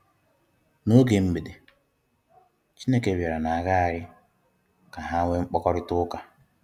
N'oge Mgbede, Chineke bịara na-agaharị ka ha nweé mkpakọrịta ụka.